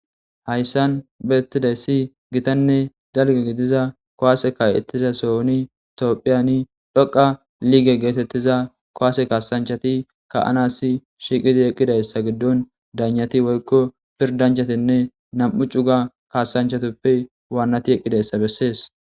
Hayssan bettizayssi giittanne dalgga gidida kuwse ka'izasonni tophphiyanni dhoqqa getitiza kuwase kasanchchatti ka'anas shiiqqidayssa giddon daynatti woykko pidanchchati nam'u cugga kasanchchattuppe eeqidayssa beses